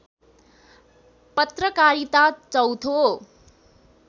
पत्रकारिता चौथो